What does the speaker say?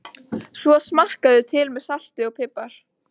Svo smakkarðu til með salti og pipar.